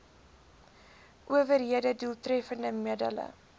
owerhede doeltreffende middele